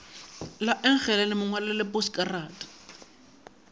la engelane mo ngwalele poskarata